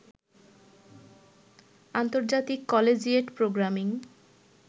আন্তর্জাতিক collegiate programming